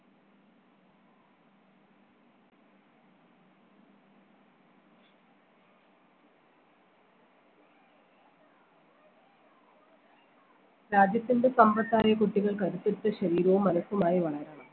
രാജ്യത്തിൻറെ സമ്പത്തായ കുട്ടികൾക്ക് അനുസരിച്ച ശരീരവും മനസുമായി വളരണം